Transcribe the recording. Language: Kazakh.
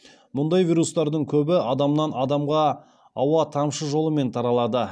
мұндай вирустардың көбі адамнан адамға ауа тамшы жолымен таралады